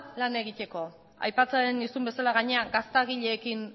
lan egiteko aipatzen nizun bezala gainera gaztagileekin